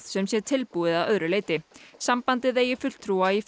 sem sé tilbúið að öðru leyti sambandið eigi fulltrúa í